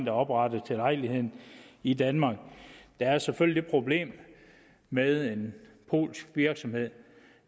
er oprettet til lejligheden i danmark der er selvfølgelig det problem med en polsk virksomhed